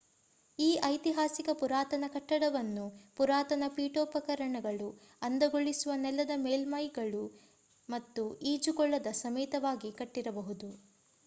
ಈ ಐತಿಹಾಸಿಕ ಪುರಾತನ ಕಟ್ಟಡವನ್ನು ಪುರಾತನ ಪೀಠೋಪಕರಣಗಳು ಅಂದಗೊಳಿಸುವ ನೆಲದ ಮೇಲ್ಮೈಗಳು ಮತ್ತು ಈಜುಕೊಳದ ಸಮೇತವಾಗಿ ಕಟ್ಟಿರಬಹುದು